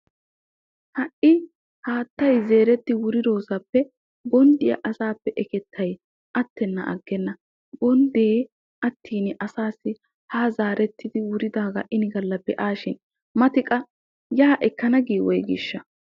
Ha"i haattay zeeretti wuridoosaappe bonddiyaa asaappe ekettay attennan aggenna. Bonddee attin asaassi haa zaarettidi wuridaagaa ini galla be"aasishin mati qa yaa ekkana gii woygiishshaa?